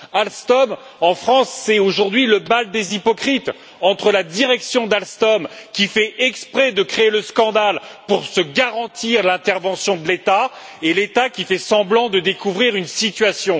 Alstom en France, c'est aujourd'hui le bal des hypocrites, entre la direction d'Alstom, qui fait exprès de créer le scandale pour se garantir l'intervention de l'État, et l'État, qui fait semblant de découvrir une situation.